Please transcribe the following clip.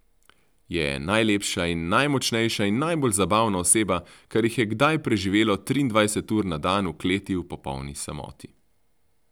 Je najlepša in najmočnejša in najbolj zabavna oseba, kar jih je kdaj preživelo triindvajset ur na dan v kleti v popolni samoti.